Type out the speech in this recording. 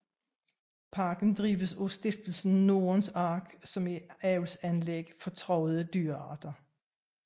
Parken drives af Stiftelsen Nordens Ark som et avlsanlæg for truede dyrearter